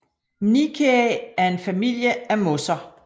Mniaceae er en familie af mosser